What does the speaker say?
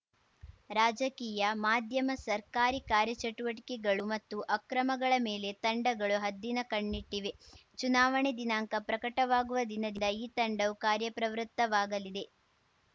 ರಾಜಕೀಯ ಮಾಧ್ಯಮ ಸರ್ಕಾರಿ ಕಾರ್ಯ ಚಟುವಟಿಕೆಗಳು ಮತ್ತು ಅಕ್ರಮಗಳ ಮೇಲೆ ತಂಡಗಳು ಹದ್ದಿನ ಕಣ್ಣಿಟ್ಟಿವೆ ಚುನಾವಣೆ ದಿನಾಂಕ ಪ್ರಕಟವಾಗುವ ದಿನದಿಂದ ಈ ತಂಡವು ಕಾರ್ಯಪ್ರವೃತ್ತವಾಗಲಿದೆ